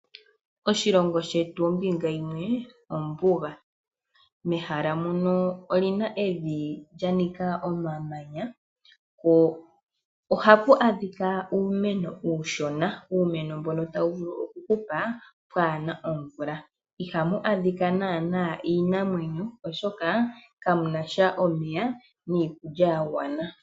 Oshilongo shetu ombinga yimwe ombuga, mehala mono omuna evi lya nika omamanya, po ohapu adhika uumeno uushona, uumeno mbono tawu vulu oku hupa kaapuna omvula. Ihamu adhika naana iinamwenyo oshoka, kamunasha omeya niikulya ya gwana.